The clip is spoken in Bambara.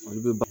Olu bɛ b